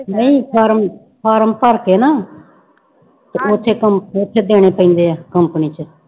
ਨਹੀਂ form form ਭਰਕੇ ਨਾ ਤੇ ਉੱਥੇ ਸਮ ਉੱਥੇ ਦੇਣੇ ਪੈਂਦੇ ਹੈ company ਚ।